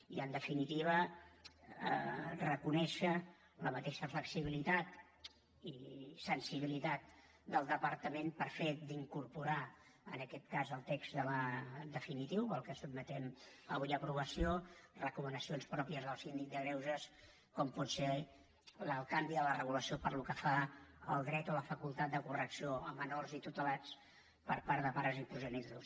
i en definitiva reconèixer la mateixa flexibilitat i sensibilitat del departament pel fet d’incorporar en aquest cas al text definitiu el que sotmetem avui a aprovació recomanacions pròpies del síndic de greuges com pot ser el canvi de la regulació pel que fa al dret o la facultat de correcció a menors i tutelats per part de pares i progenitors